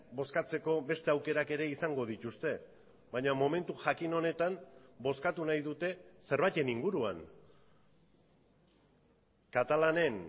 bozkatzeko beste aukerak ere izango dituzte baina momentu jakin honetan bozkatu nahi dute zerbaiten inguruan katalanen